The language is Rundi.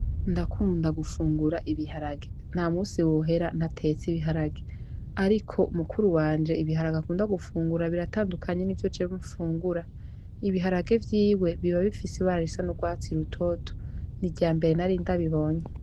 Ndakunda gufungura ibiharage, nta musi wohera ntatetse ibiharage, ariko mu mukuru wanje ibiharage akunda gufungura biratandukanye n'ivyo jewe mfungura, ibiharage vyiwe biba bifise ibara risa n'ugwatsi rutoto, n'irya mbere narindabibonye